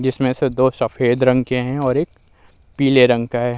जिसमें से दो सफ़ेद रंग के हैं और एक पीले रंग का है।